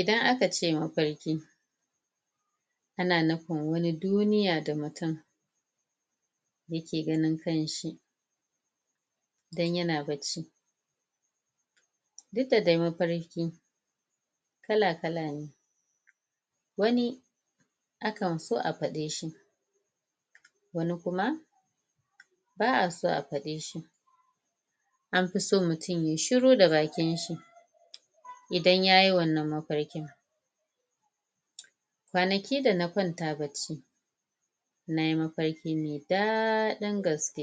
Idan aka ce mafarki ana nufin wani duniya da mutum yake ganin kanshi idan yana bacci duk da dai mafarki kala kala ne wani akan so a faɗe shi wani kuma ba a so a faɗe shi an fi so mutum yayi shuru da bakin shi idan yayi wannan mafarki kwanaki da na kwanta bacci nayi mafarki mai daɗi gaske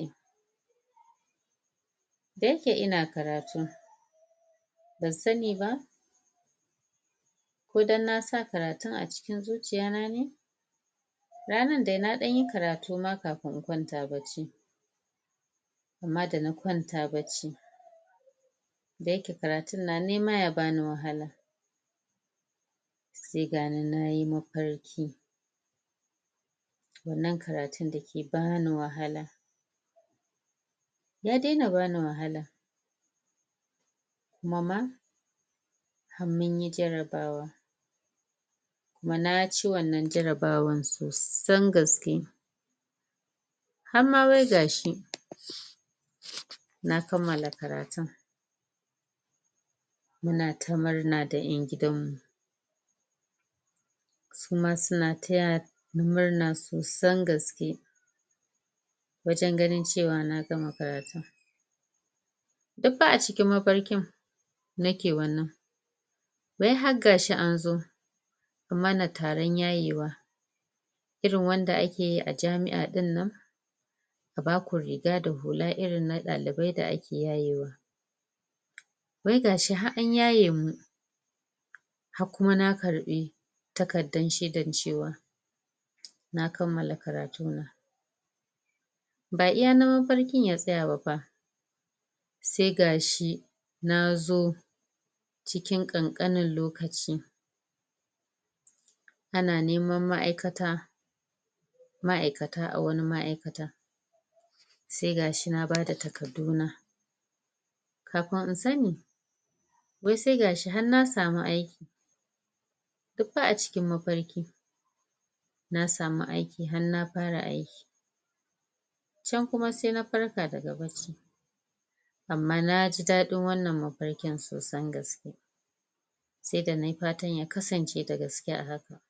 da yake ina karati ban sani ba ko don na sa karatun a zuciya na ne ranan dai na ɗan yi karatu ma kafin na kwanta bacci amma da na kwanta bacci da yake karatun na nema ya bani wahala sai gani nayi mafarki wannan karatun dake bani wahala ya daina bani wahala kuma ma har munyi jarrabawa kuma na ci wannan jarrabawan sosan gaske har ma wai gashi na kammala karatun muna ta murna da ƴan gidanmu suma suna taya ni murna sosan gaske wajen ganin cewa na gama karatun duk fa a cikin mafarkin nake wannan wai har gashi an zo an mana taron yayewa irin wanda ake yi a jami'a ɗinnan a baku rifa da hula irin na ɗalibai da ake yayewa wai gashi har an yaye mu har kuma na karɓi takardan shaidan cewa na kammala karatu na ba iya nan mafarkin ya tsaya ba fa sai gashi na zo cikin ƙanƙanin lokaci ana neman ma'aikata ma'aikata a wani ma'aikata sai gashi na bada takarduna kafin in sani wai sai gashi har na samu aiki duk fa a cikin mafarki na samu aiki har na fara aiki can kuma sai na farka daga bacci amma na ji daɗin wannan mafarkin sosan gaske sai da nayi fatan ya kasance da gaske a haka